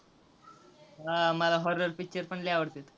हां, मला horror picture पण लय आवडतात.